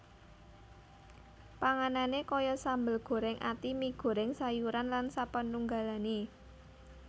Panganane kaya sambel goreng ati mi goreng sayuran lan sapanunggalane